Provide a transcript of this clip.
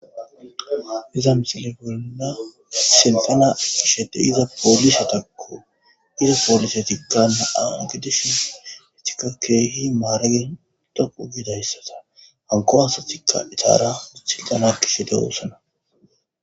iza misile bolna sinfena kishede iza poolisatakko iza poolise tikkanne au gidishin hetika keehi maaragetougidayssata hanko asatikka icaara uthiltana kishe de woosana